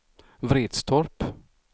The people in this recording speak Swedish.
Vretstorp